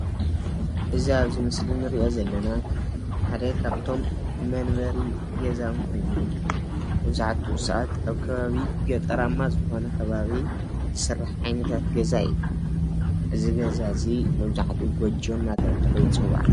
እዚ አብ ምስሊ እንሪኦ ዘለና ሓደ ካብቶም መንበሪ ገዛውቲ መብዛሕትኡ ሰባት አብ ከባቢ ገጠራማ ዝኮነ ከባቢ ዝስራሕ ዓይነታት ገዛ እዩ፡፡ እዚ ገዛ እዚ መብዛሕትኡ ጎጆ ተባሂሉ ይፅዋዕ፡፡